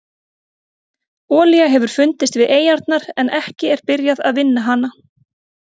Olía hefur fundist við eyjarnar en ekki er byrjað vinna hana.